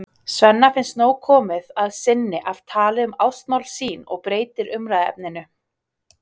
Svenna finnst nóg komið að sinni af tali um ástamál sín og breytir umræðuefninu.